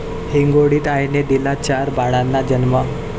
हिंगोलीत आईने दिला चार बाळांना जन्म